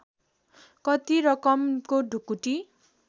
कति रकमको ढुकुटी